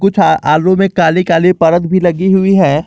कुछ आ आलू में काली काली परत भी लगी हुई हैं।